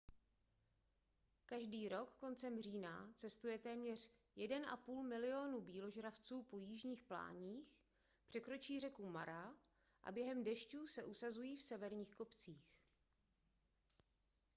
každý rok kolem října cestuje téměř 1,5 milionu býložravců po jižních pláních překročí řeku mara a během dešťů se usazují v severních kopcích